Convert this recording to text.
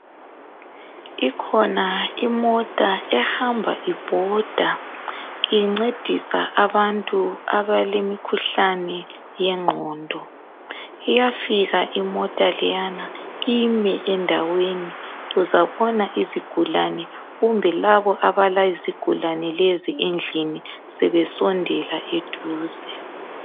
Ikhona imota ehamba ibhoda incedisa abantu abalemikhuhlane yengqondo. Iyafika imota leyana ime endaweni uzabona izigulani kumbe labo abalezigulane lezi endlini sebesondela eduze